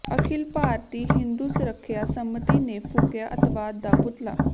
ਅਖਿਲ ਭਾਰਤੀ ਹਿੰਦੂ ਸੁਰੱਖਿਆ ਸੰਮਤੀ ਨੇ ਫੂਕਿਆ ਅੱਤਵਾਦ ਦਾ ਪੁਤਲਾ